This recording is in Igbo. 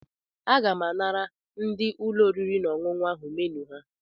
Aga m anara ndị ụlọ oriri na ọṅụṅụ ahụ menu ha.